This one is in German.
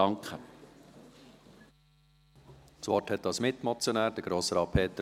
Peter Moser hat als Mitmotionär das Wort.